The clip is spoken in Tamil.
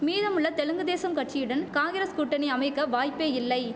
மீதமுள்ள தெலுங்கு தேசம் கட்சியுடன் காங்கிரஸ் கூட்டணி அமைக்க வாய்ப்பே இல்லை